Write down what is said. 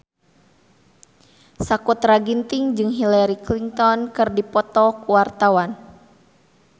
Sakutra Ginting jeung Hillary Clinton keur dipoto ku wartawan